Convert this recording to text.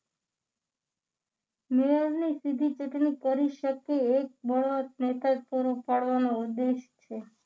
મેયરની સીધી ચૂંટણી કરી શકે એક બળવંત નેતા પૂરો પાડવાનો ઉદ્દેશ છે